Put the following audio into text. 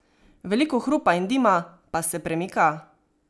Veliko hrupa in dima, pa se premika?